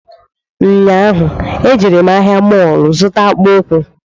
Nyaahu e jere m ahịa mọlụ zụta akpụkwụ